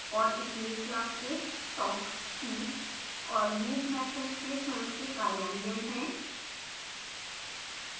और snake class के talk see और move मैथड्स के स्वंय के कार्यान्वयन हैं